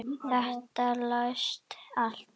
Þetta selst allt.